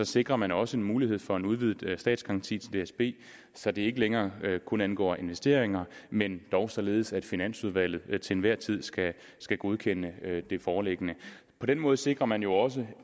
sikrer man også en mulighed for en udvidet statsgaranti til dsb så det ikke længere kun angår investeringer men dog således at finansudvalget til enhver tid skal skal godkende det foreliggende på den måde sikrer man jo også